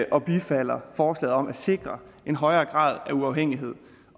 og bifalder forslaget om at sikre en højere grad af uafhængighed